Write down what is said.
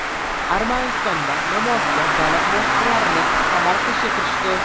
Armanistonda namoyishchilar davlat muassasalarini qamal qilishga kirishdi.